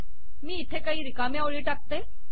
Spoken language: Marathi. मी इथे काही रिकाम्या ओळी टाकते